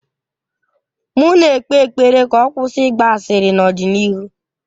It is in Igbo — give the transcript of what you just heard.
M na-ekpe ekpere ka ọ kwụsị ịgba asịrị n'ọdịnihu.